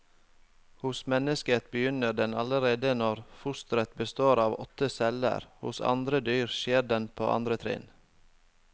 Hos mennesket begynner den allerede når fosteret består av åtte celler, hos andre dyr skjer den på andre trinn.